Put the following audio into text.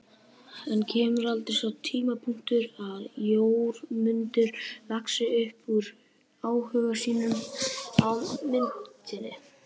En kemur aldrei sá tímapunktur að Jórmundur vaxi upp úr áhuga sínum á myndinni?